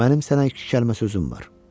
Mənim sənə iki kəlmə sözüm var.